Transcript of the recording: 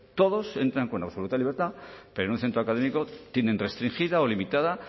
todos entran con absoluta libertad pero en un centro académico tienen restringida o limitada